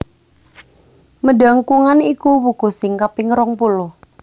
Medangkungan iku wuku sing kaping rongpuluh